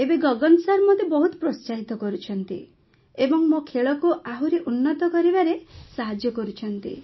ଏବେ ଗଗନ ସାର୍ ମତେ ବହୁତ ପ୍ରୋତ୍ସାହିତ କରୁଛନ୍ତି ଏବଂ ମୋ ଖେଳକୁ ଆହୁରି ଉନ୍ନତ କରିବାରେ ସାହାଯ୍ୟ କରୁଛନ୍ତି